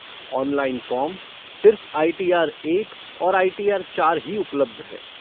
Online form, सिर्फ़ I T R एक और आई टी आर चार ही उपलब्ध है।